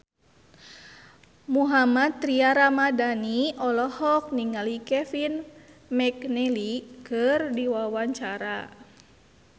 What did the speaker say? Mohammad Tria Ramadhani olohok ningali Kevin McNally keur diwawancara